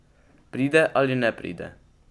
Pride ali ne pride?